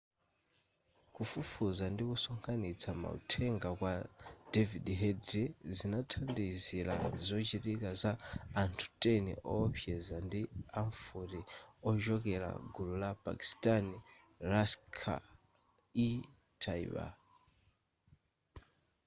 kufufuza ndikusonkhanitsa mauthenga kwa david headley zinathandizira zochitika za anthu 10 owopseza ndi amfuti ochokera gulu la pakistani laskhar-e-taiba